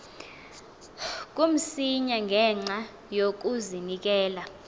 kamsinya ngenxa yokazinikela